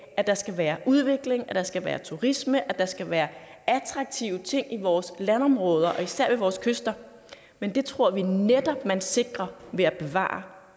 at der skal være udvikling at der skal være turisme at der skal være attraktive ting i vores landområder og især ved vores kyster men det tror vi netop man sikrer ved at bevare